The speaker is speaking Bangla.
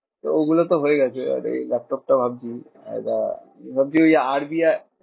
তো ওগুলোতো হয় গেছে। আর এই ল্যাপটপটা ভাবছি একটা ভাবছি ওই আর বি আই